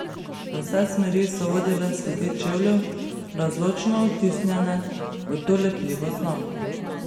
V vse smeri so vodile sledi čevljev, razločno odtisnjene v to lepljivo snov.